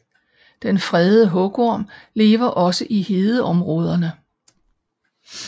Den fredede hugorm lever også i hedeområderne